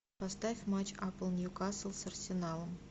поставь матч апл ньюкасл с арсеналом